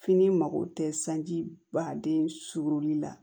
Fini mago tɛ sanji baden suguli la